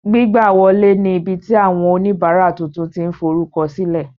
Gbigbawọle ní ibiti awọn onibara tuntun ti n forukọsilẹ